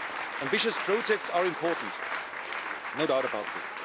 Ambitious projects are important no doubt about this.